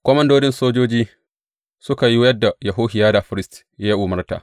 Komandodin sojoji suka yi yadda Yehohiyada firist ya umarta.